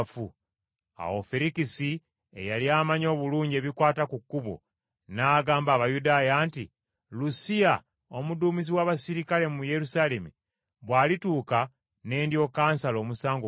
Awo Ferikisi, eyali amanyi obulungi ebikwata ku Kkubo, n’agamba Abayudaaya nti, “Lusiya, omuduumizi w’abaserikale mu Yerusaalemi, bw’alituuka ne ndyoka nsala omusango gwammwe.”